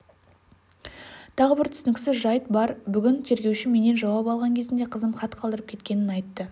тағы бір түсініксіз жайт бар бүгін тергеуші менен жауап алған кезінде қызым хат қалдырып кеткенін айтты